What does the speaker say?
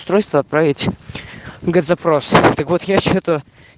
устройство отправить на запрос так вот я что-то